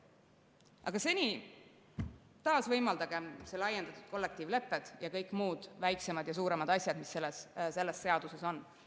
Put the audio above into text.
Aga seni taasvõimaldagem laiendatud kollektiivlepped ja kõik muud väiksemad ja suuremad asjad, mis selles seaduses on.